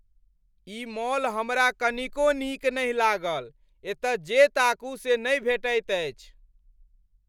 ई mall हमरा कनिको नीक नहि लागल, एतय जे ताकू से नहि भेटैत अछि।